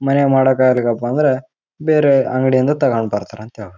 ಈ ಚಿತ್ರದಲ್ಲಿ ನೋಡುಬಹುದಾದ್ರೆ ಇದು ಒಂದು ಹಂಡಲೂಮ್ ಇನ ಅಂಗಡಿ. ಇಲ್ಲಿ ತುಂಬಾ ತರಹದ ಮ್ಯಾಟ್ ಗಳು ನೋಡಲು ಸಿಗುತ್ತದೆ. ಇಲ್ಲಿ--